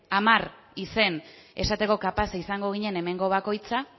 hamar izen esateko kapazak izango ginen hemengo bakoitzak